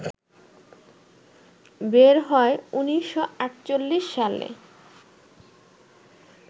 বের হয় ১৯৪৮ সালে